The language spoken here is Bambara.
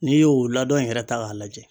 N'i y'o ladon yɛrɛ ta k'a lajɛ